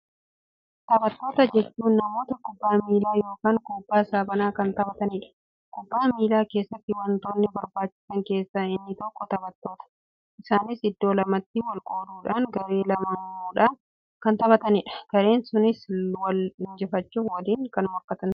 Taphattoota jechuun namoota kubbaa miilaa yookiin kubbaa saaphanaa kan taphataniidha. Kubbaa miilaa keessatti wontoota barbaachisaa keessaa inni tokkoo taphattoota. Isaanis iddoo lamatti wol-qooduudhaan garee lama uumuudhaan kan taphataniidha. Gareen sunniinis wol-injifachuuf woliin kan morkatan ta'a.